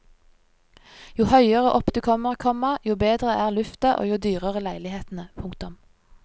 Jo høyere opp du kommer, komma jo bedre er lufta og jo dyrere leilighetene. punktum